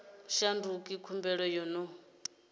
u shandukisa khumbelo yo no